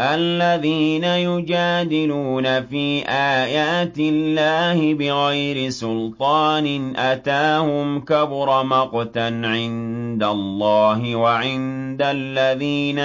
الَّذِينَ يُجَادِلُونَ فِي آيَاتِ اللَّهِ بِغَيْرِ سُلْطَانٍ أَتَاهُمْ ۖ كَبُرَ مَقْتًا عِندَ اللَّهِ وَعِندَ الَّذِينَ